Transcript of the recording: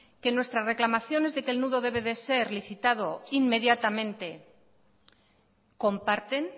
que en nuestra reclamaciones deque el nudo debe de ser licitado inmediatamente comparten